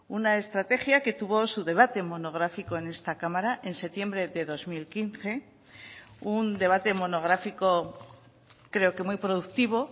una estrategia que tuvo su debate monográfico en esta cámara en septiembre de dos mil quince un debate monográfico creo que muy productivo